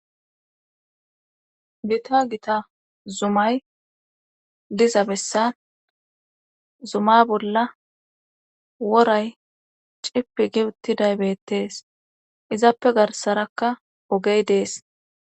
gita gita zumay diza bessan zuma bolla woray cipi gi uttiday bettees izappe garsarakka ogey dees